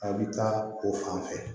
A bɛ taa o fan fɛ